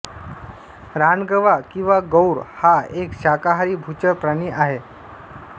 रानगवा किंवा गौर हा एक शाकाहारी भूचर प्राणी आहे